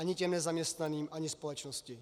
Ani těm nezaměstnaným, ani společnosti.